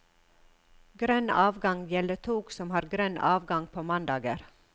Grønn avgang gjelder tog som har grønn avgang på mandager.